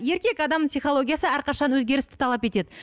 еркек адамның психологиясы әрқашан өзгерісті талап етеді